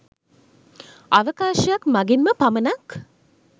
අවකාශයක් මගින්ම පමණක්